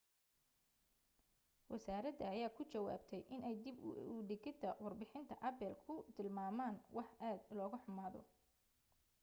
wasaarada ayaa ku jawaabtay inay dib u digidda warbixinta apple ku tilmaamaan wax aad loga xumaado